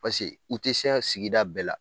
u tɛ se a sigida bɛɛ la